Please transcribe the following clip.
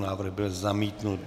Návrh byl zamítnut.